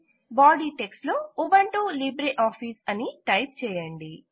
body text లో Ubuntu LibreOffice అని type చేయండి